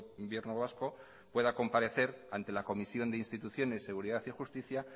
gobierno vasco pueda comparecer ante la comisión de instituciones seguridad y justicia